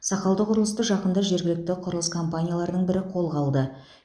сақалды құрылысты жақында жергілікті құрылыс компанияларының бірі қолға алды